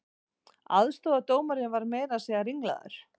Aðstoðardómarinn var meira að segja ringlaður